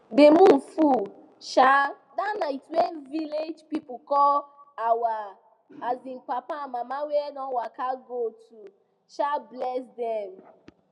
the moon full um that night wey village people call our um papa and mama wey don waka go to um bless them